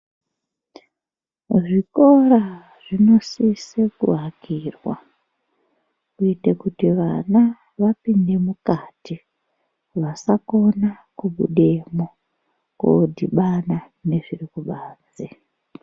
Zvikora zvinosise kuakirwa kuitire kuti vana vapinde mukati vasakona kubudemwo kodhibana nezviri kibanze.